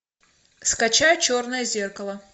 скачай черное зеркало